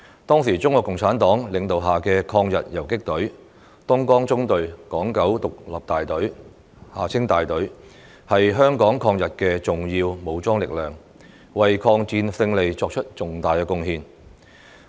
當時中國共產黨領導下的抗日游擊隊"東江縱隊港九獨立大隊"是香港抗日的重要武裝力量，為抗戰勝利作出重大貢獻。